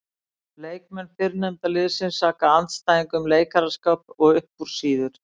Leikmenn fyrrnefnda liðsins saka andstæðing um leikaraskap og upp úr sýður.